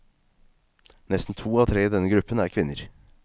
Nesten to av tre i denne gruppen er kvinner.